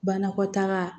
Banakɔtaa